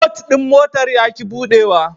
But ɗin motar ya ƙi buɗuwa.